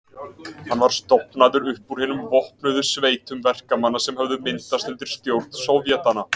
Hann var stofnaður upp úr hinum vopnuðu sveitum verkamanna sem höfðu myndast undir stjórn sovétanna.